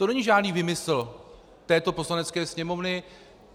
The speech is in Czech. To není žádný výmysl této Poslanecké sněmovny.